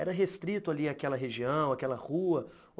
Era restrito ali àquela região, àquela rua?